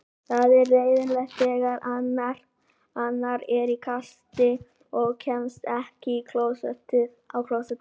Það er leiðinlegast þegar hann er í kasti og kemst ekki á klósettið.